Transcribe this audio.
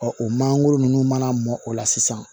o mangoro ninnu mana mɔn o la sisan